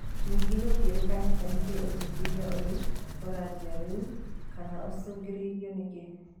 Ningĩ gũtikũrĩkanĩte nĩkĩĩ ũthuthurĩa ũyũ ũranjia rĩu, kana ũcũngĩrĩirio nĩkĩĩ.